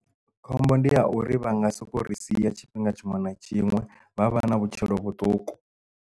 Khombo ndi ya uri vha nga soko ri sia tshifhinga tshiṅwe na tshiṅwe vha vha na vhutshilo vhuṱuku.